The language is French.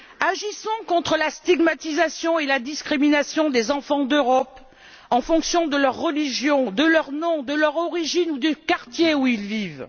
Agissons contre la stigmatisation et la discrimination des enfants d'Europe en fonction de leur religion, de leur nom, de leur origine ou du quartier où ils vivent.